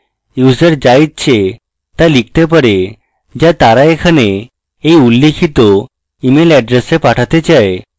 user the ইচ্ছে the লিখতে পারে the তারা এখানে এই উল্লিখিত email এড্রেসে পাঠাতে চায়